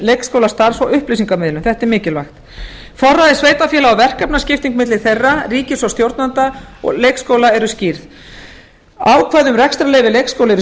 leikskólastarfs og upplýsingamiðlun þetta er mikilvægt forræði sveitarfélaga og verkefnaskipting milli þeirra ríkis og stjórnvalda og leikskóla eru skýr ákvæði um rekstrarleyfi leikskóla eru skýrð